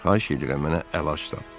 Xahiş edirəm, mənə əl aç, atam.